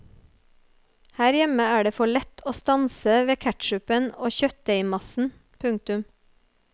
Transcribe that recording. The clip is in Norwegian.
Her hjemme er det for lett å stanse ved ketchupen og kjøttdeigmassen. punktum